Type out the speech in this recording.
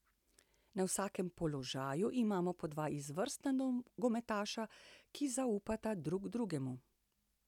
Na vsakem položaju imamo po dva izvrstna nogometaša, ki zaupata drug drugemu.